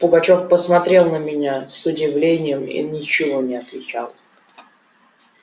пугачёв посмотрел на меня с удивлением и ничего не отвечал